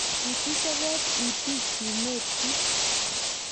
kituch toket itik sumekchich